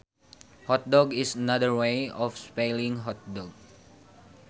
Hotdog is another way of spelling hot dog